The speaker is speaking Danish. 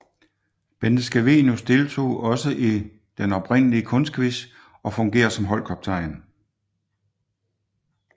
Bente Scavenius deltog også i den oprindelig kunstquiz og fungerer som holdkaptajn